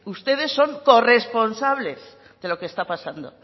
ustedes son corresponsables de lo que está pasando